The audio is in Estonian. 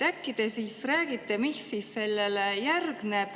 Äkki te siis räägite, mis sellele järgneb.